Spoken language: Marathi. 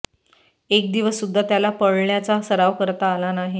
एक दिवस सुद्धा त्याला पळण्याचा सराव करता आला नाही